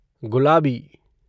गुलाबी